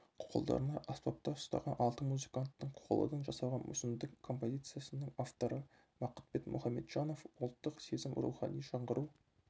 қолдарына аспаптар ұстаған алты музыканттың қоладан жасалған мүсіндік композициясының авторы бақытбек мұхамеджанов ұлттық сезім рухани жаңғыру